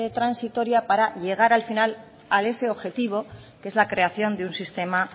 transitoria para llegar al final a ese objetivo que es la creación de un sistema